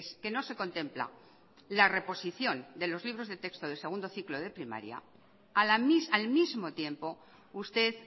que no se contempla la reposición de los libros de texto de segundo ciclo de primaria al mismo tiempo usted